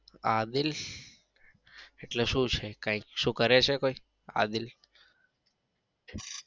આદિલ એટલે શું છે? કઈ શું કરે છે કઈ આદિલ?